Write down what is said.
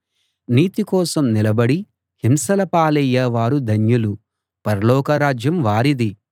నీతి కోసం నిలబడి హింసల పాలయ్యేవారు ధన్యులు పరలోక రాజ్యం వారిది